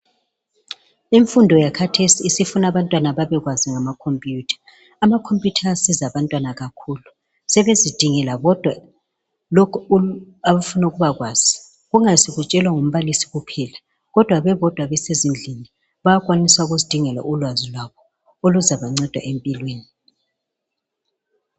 Imfundo yakhathesi isifuna abantwana babekwazi ngama "computer " ,ama"computer" ayasiza abantwana kakhulu, sebezidingela bodwa lokhu abafuna ukubakwazi kungasi kutshelwa ngumbalisi kuphela kodwa bebodwa besezindlini bayakwanisa ukuzidingela ulwazi lwabo oluzaba nceda empilweni.